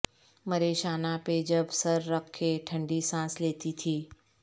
مرے شانہ پہ جب سر رکھ کے ٹھنڈی سانس لیتی تھی